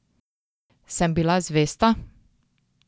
Sem bila zvesta?